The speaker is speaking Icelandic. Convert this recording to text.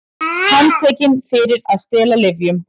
Handtekin fyrir að stela lyfjum